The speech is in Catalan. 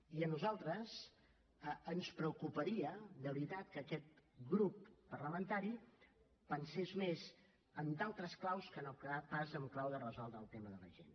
i a nosaltres ens preocuparia de veritat que aquest grup parlamentari pensés més en d’altres claus que no pas en clau de resoldre el tema de la gent